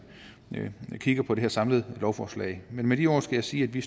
kigger på det her samlede lovforslag men med de ord skal jeg sige at vi